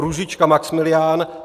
Růžička Maxmilián